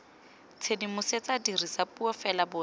tshedimosetso dirisa puo fela boatleng